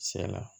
Sɛ la